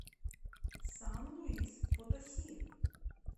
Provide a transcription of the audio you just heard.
сан луис потоси